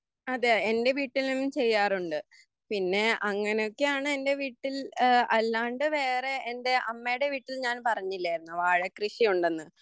അതെ എൻ്റെ വീട്ടിലും ചെയ്യാറുണ്ട് പിന്നെ അങ്ങിനൊക്കാണ് എൻ്റെ വീട്ടിൽ അല്ലാണ്ട് വേറെ എൻ്റെ അമ്മേടെവീട്ടിൽ ഞാൻ പറഞ്ഞില്ലായിരുന്നോ വാഴക്കൃഷിയുണ്ടെന്ന്